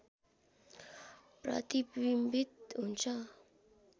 प्रतिविम्बित हुन्छ